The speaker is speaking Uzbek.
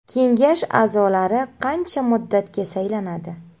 Kengash a’zolari qancha muddatga saylanadi?